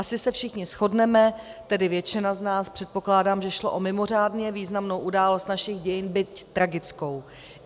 Asi se všichni shodneme, tedy většina z nás předpokládá, že šlo o mimořádně významnou událost našich dějin, byť tragickou.